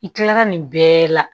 I kilala nin bɛɛ la